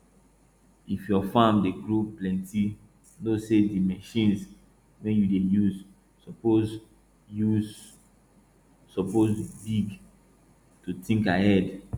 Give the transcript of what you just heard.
if yua farm dey grow plenti know say di machines wey yua dey use suppose use suppose big too think ahead